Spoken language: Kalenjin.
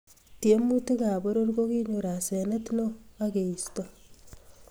Tiemutikab poror ko kinyor asenet neo ak keisto